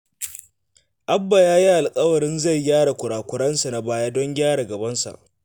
Abba ya yi alƙawarin zai gyara kura-kurensa na baya don gyara gabansa